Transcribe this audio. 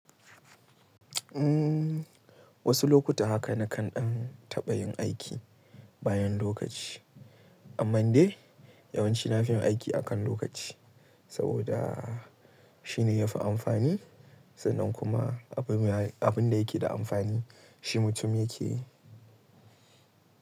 Umm, wasu lokuta haka na kan ɗan taɓa yin aiki bayan lokaci. Amman dai yawanci nafi yin aiki a kan lokaci sabida shine yafi amfani sannan kuma abin da yake da amfani shi mutum yake yi.